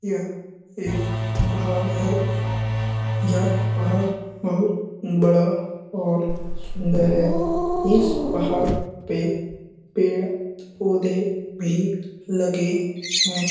यह एक पहाड़ है यह पहाड़ बहुत बड़ा और सुन्दर है इस पहाड़ पे पेड़ पौधे भी लगे हैं ।